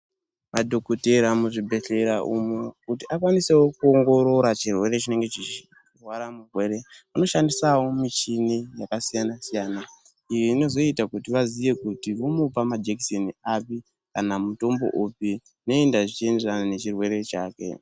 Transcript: Madhokotera muzvibhedhlera umu, kuti akwanisewo kuwongorora chirwere chinenge chichigwara mugwere anoshandisawo michini yakasiyana siyana. Iyi inozoita kuti vazive kuti unomupa majekiseni api kana mutombo upi uye zvichiyenderana nechirwere chake.